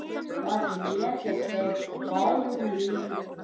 Það létti þeim báðum lífið.